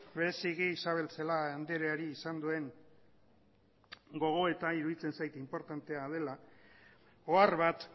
berezik isabel celaá andreari izan duen gogoetagatik iruditzen zait inportante dela ohar bat